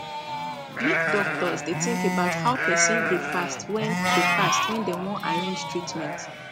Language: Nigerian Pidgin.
make doctors dey think about how person dey fast when dey fast when dem wan arrange treatment